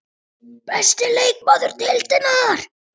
Besti leikmaður Deildarinnar?